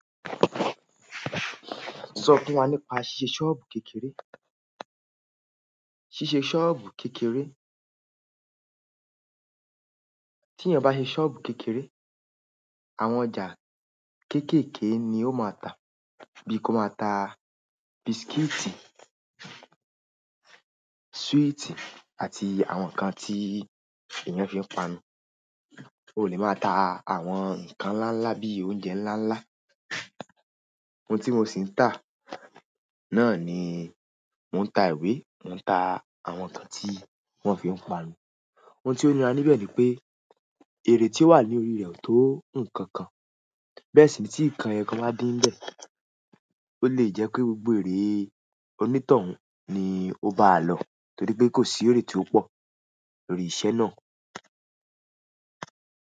Sọ fún wa nípa ṣíṣe ṣọ́ọ̀bù kékeré. Ṣíṣe ṣọ́ọ̀bù kékeré. Tí ẹ̀yàn bá ṣe ṣọ́ọ̀bù kékeré, àwọn ọjà kéékèèké ni ó máa tà. Bíi kó máa ta biscuits, sweets àti àwọn nǹkan tí èèyàn fi ń panu. Ó lè máa ta àwọn nǹkan ńláńlá bíi oúnjẹ ńláńlá. Ohun tí mo sì ń tà náà ni mò ń ta ìwé, mò ń ta àwọn nǹkan tí wọ́n fi ń panu. Ohun tí oníra níbẹ̀ ni pé, ère tí ó wà ní orí rẹ̀ ò tó nǹkan kan. Bẹ́ẹ̀ sì ní tí nǹkan ẹyokan bá din níbẹ̀, ó lè jẹ́ pé gbogbo ère onítọ̀hún ni ó bá a lọ torí pé kò sí ère tí ó pọ̀ lórí iṣẹ́ náà.